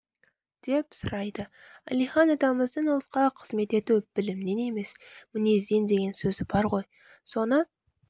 деп сұрайды әлихан атамыздың ұлтқа қызмет ету білімнен емес мінезден деген сөзі бар ғой соны